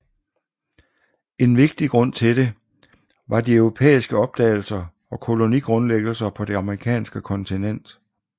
En vigtig grund til det var de europæiske opdagelser og kolonigrundlæggelser på det amerikanske kontinent